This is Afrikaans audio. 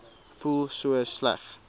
voel so sleg